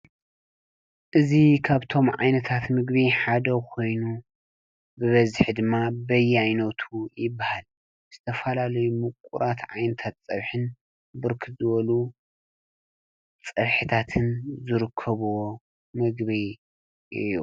እዙ ኻብቶም ዓይነታት ምግቢ ሓደ ኾይኑ ብበዚኅ ድማ በይ ይኖቱ ይበሃል ስተፋላለይ ምቝራት ዓይንታት ጸብሕን ብርክዘወሉ ጸብሒታትን ዘርከብዎ ምግቢ እዩ።